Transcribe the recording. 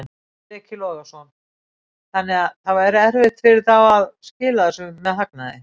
Breki Logason: Þannig að það væri erfitt fyrir þá að skila þessu með hagnaði?